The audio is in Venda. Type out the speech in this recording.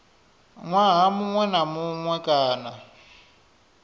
ṅwaha muṅwe na muṅwe kana